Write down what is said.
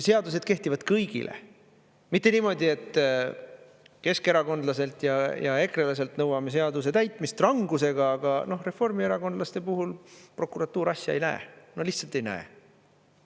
Seadused kehtivad kõigile, mitte niimoodi, et keskerakondlaselt ja ekrelaselt nõuame seaduse täitmist rangusega, aga reformierakondlaste puhul prokuratuur asja ei näe, no lihtsalt ei näe.